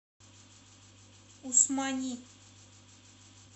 усмани